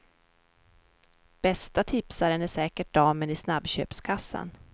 Bästa tipsaren är säkert damen i snabbköpskassan.